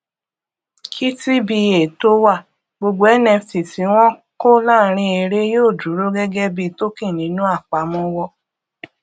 kí tba tó wà gbogbo nft tí wọn kó láàrin eré yóò dúró gẹgẹ bí token nínú apamọwọ